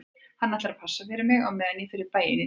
Hann ætlar að passa fyrir mig á meðan ég fer í bæinn í dag